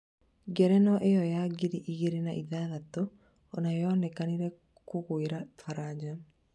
ngerenwa ĩyo ya ngiri igĩrĩ na ithathatũ onayo yonekire kũgũira baranja